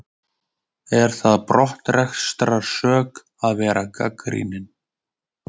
Er það brottrekstrarsök að vera gagnrýninn?